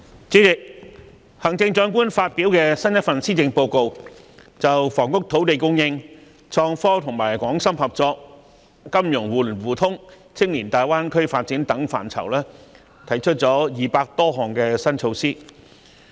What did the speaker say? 主席，行政長官發表新一份施政報告，就房屋、土地供應、創科、港深合作、金融互聯互通、青年大灣區發展等範疇提出了200多項新措施。